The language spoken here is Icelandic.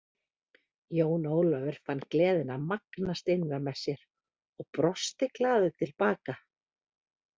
Jón Ólafur fann gleðina magnast innra með sér og brosti glaður til baka.